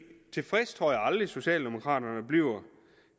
tilfredse tror jeg aldrig socialdemokraterne bliver